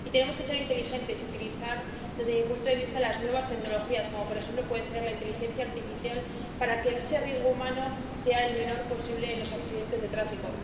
Y tenemos que ser inteligentes y utilizar, desde mi punto de vista, las nuevas tecnologías, como, por ejemplo, puede ser la inteligencia artificial, para que ese riesgo humano sea el menor posible en los accidentes de tráfico.